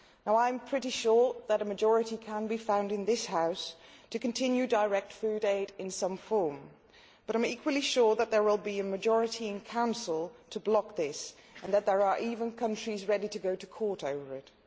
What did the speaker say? I am pretty sure that a majority can be found in this House to continue direct food aid in some form, but I am equally sure that there will be a majority in Council to block this and that there are even countries ready to go to court over it.